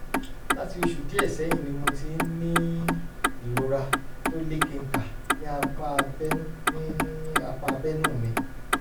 láti oṣù díẹ̀ sẹ́yìn ni mo ti ń ní ìrora tó lékenkà ní apá abẹ́nú ní apá abẹ́nú mi